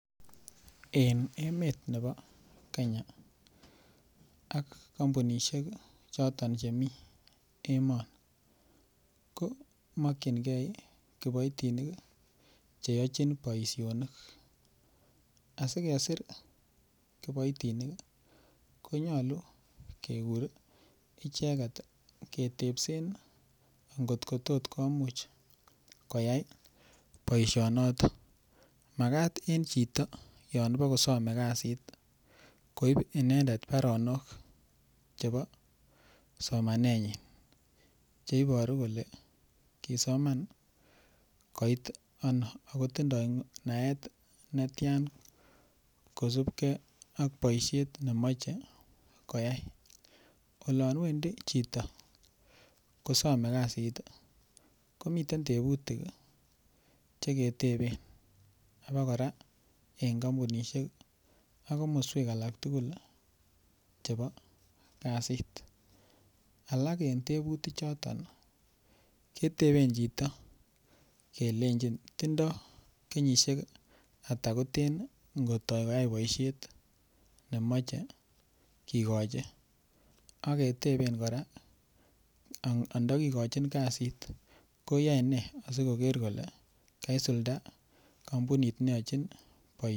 En emet nebo Kenya ak kompunishek choton chemi emoni ko mokinge kiboitinik che yochin boisionik. Asikesir kiboitinik konyolu kegur icheget ketebsen ngotko tos komuch koyai boisionoto magat en chito yon ibokosome kasit koib inendet baronok chebo somanenyin che iboru kole kisoman koit ano ago tindo naet netyan kosubgei ak boisiet nemoche koyai olon wendi chito kosome kasit komiten tebutik che keteben abakora en kompunisiek ak komoswek alak tugul chebo kasit. Alak en tebutik choto kiteben chito kelenchin tindo kenyisiek ata koten koyai boisiet nemoche kigochi ak keteben kora andokigochin kasit koyae ne asikoker kole kasulda kompunit neyochin.